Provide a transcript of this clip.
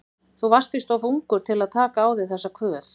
Þú varst víst of ungur til að taka á þig þessa kvöð.